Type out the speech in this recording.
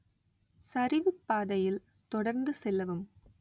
சரிவுப் பாதையில் தொடர்ந்து செல்லவும்